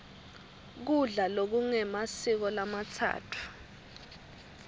kudla lokungemasiko lamatsatfu